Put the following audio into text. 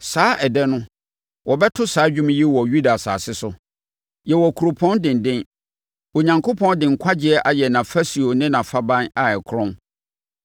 Saa ɛda no, wɔbɛto saa dwom yi wɔ Yuda asase so: Yɛwɔ kuropɔn denden; Onyankopɔn de nkwagyeɛ ayɛ nʼafasuo ne nʼafaban a ɛkorɔn.